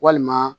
Walima